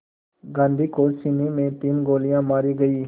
गांधी को सीने में तीन गोलियां मारी गईं